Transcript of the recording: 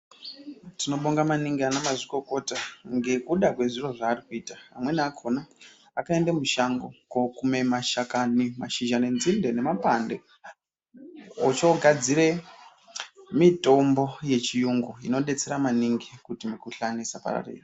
Tino bonga maningi ana mazvikokota ngekuda kwezviro zvaarikuita amweni akona akaenda mushango ko kume mashakani mashizha ne nzinde nemapande ocho gadzire mitombo yechiyungu ino betsera maningi kuti mukuhlani isa pararira.